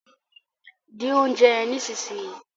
Dín oúnjẹ yen nísìsiyìí!